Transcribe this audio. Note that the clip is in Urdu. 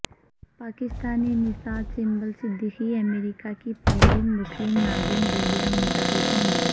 پاکستانی نژاد سنبل صدیقی امریکہ کی پہلی مسلم ناظم بلدیہ منتخب ہو گئیں